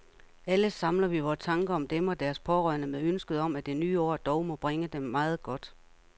Alle samler vi vore tanker om dem og deres pårørende med ønsket om, at det nye år dog må bringe dem meget godt.